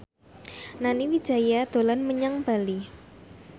Nani Wijaya dolan menyang Bali